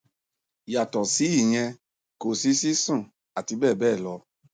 yàtọ sí ìyẹn kò sí sísun àti bẹẹ bẹẹ lọ